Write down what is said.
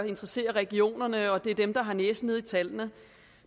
interessere regionerne og at det er dem der har næsen nede i tallene